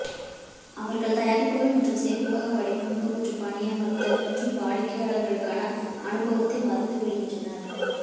அவர்கள் தயாரிப்புகள் மற்றும் சேமிப்பக வடிவமைப்பு மற்றும் பணியமர்த்தல் மற்றும் வாடிக்கையாளருக்கான அனுபவத்தை மறந்துவிடுகின்றனர்